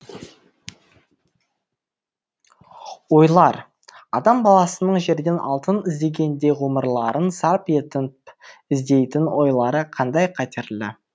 ойлар адам баласының жерден алтын іздегендей ғұмырларын сарп етін іздейтін ойлары қандай қатерлі